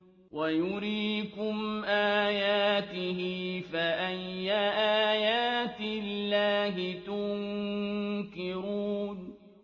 وَيُرِيكُمْ آيَاتِهِ فَأَيَّ آيَاتِ اللَّهِ تُنكِرُونَ